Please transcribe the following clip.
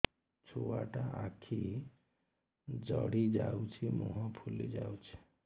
ଛୁଆଟା ଆଖି ଜଡ଼ି ଯାଉଛି ମୁହଁ ଫୁଲି ଯାଉଛି